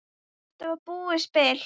Þetta var búið spil.